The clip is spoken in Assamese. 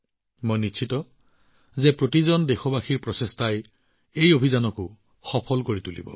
মই নিশ্চিত প্ৰতিজন দেশবাসীৰ প্ৰচেষ্টাই এই অভিযান সফল কৰি তুলিব